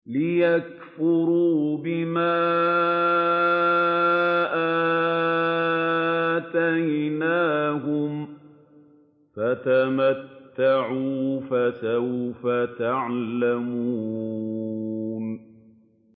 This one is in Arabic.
لِيَكْفُرُوا بِمَا آتَيْنَاهُمْ ۚ فَتَمَتَّعُوا ۖ فَسَوْفَ تَعْلَمُونَ